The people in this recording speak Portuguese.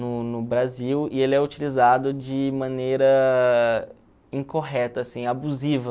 no no Brasil, e ele é utilizado de maneira incorreta, assim, abusiva.